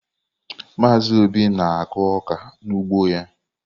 Mazị Obi na-akụ ọka n’ugbo ya.